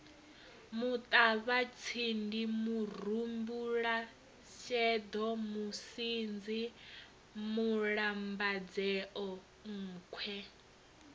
muṱavhatsindi murumbulasheḓo musunzi mulambadzea nkhwe